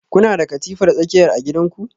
Kuna da katifar tsakiya a gidanku?